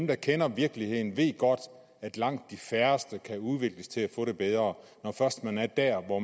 der kender virkeligheden ved godt at langt de færreste kan udvikles til at få det bedre når først man er der hvor